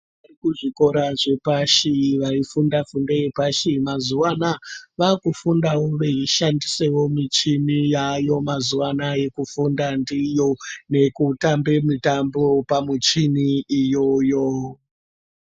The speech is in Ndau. Vekuzvikora zvepashi vaifunda fundo yepashi mazuva anawa vakufundawo veishandisawo michini yavako mazuva anawa yekufunda ndiyo nekutamba mitambo pamuchini iyoyo.